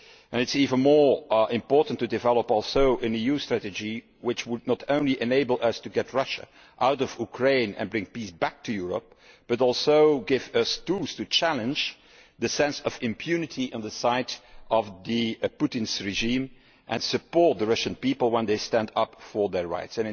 It is even more important to develop an EU strategy which would not only enable us to get Russia out of Ukraine and bring peace to Europe but also give us tools to challenge the sense of impunity with regard to Putin's regime and support the Russian people when they stand up for their rights.